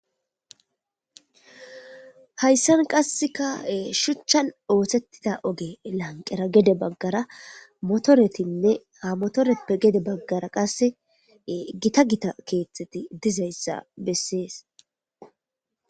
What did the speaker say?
Hayssan qasseka shuchchan oothettida oge lanqera gede baggara motoretinne amotoreppe gede baggara qasse gita gita keetxeti dizayssa bessees.